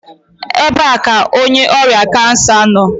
Ebee ka onye ọrịa kansa nọ?